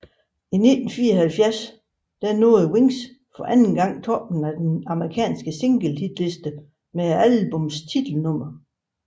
I 1974 nåede Wings for anden gang toppen på den amerikansk single hitliste med albummets titelnummer